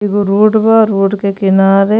एगो रोड बा। रोड के किनारे --